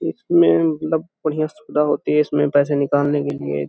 इसमें मतलब बढ़िया सुविधा होती है। इसमे पैसे निकालने के लिए --